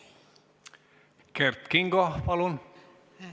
Kert Kingo, palun!